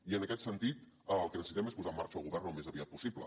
i en aquest sentit el que necessitem és posar en marxa el govern al més aviat possible